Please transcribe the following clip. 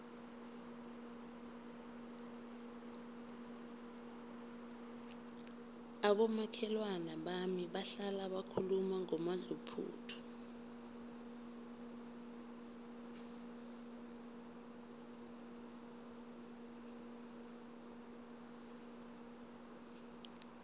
abomakhelwana bami bahlala bakhuluma ngomadluphuthu